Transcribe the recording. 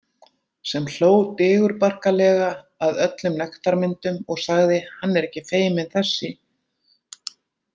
Sem hló digurbarkalega að öllum nektarmyndum og sagði: hann er ekki feiminn þessi.